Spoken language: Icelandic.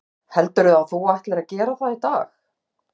Hugrún: Heldurðu að þú ætlir að gera það í dag?